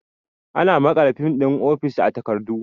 Ana maƙala fin ɗin ofis a takardu